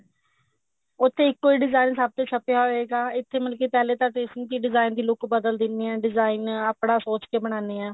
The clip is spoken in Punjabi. ਉੱਥੇ ਇੱਕੋ design ਸਭ ਤੇ ਛਾਪਿਆ ਹੋਏਗਾ ਇੱਥੇ ਤਾਂ ਮਤਲਬ ਕਿ ਪਹਿਲੇ tracing ਚ ਹੀ design ਦੀ look ਬਦਲ ਦਿਨੇ ਐ design ਆਪਣਾ ਸੋਚ ਕੇ ਬਨਾਨੇ ਆ